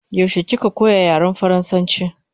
Yaushe kika koya yaren faransanchi?